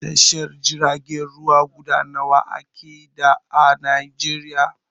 Tashar jiragen ruwa guda nawa ake da a Najeriya?